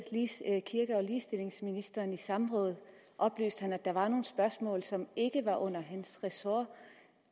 ministeren i samråd oplyste han at der var nogle spørgsmål som ikke lå under hans ressort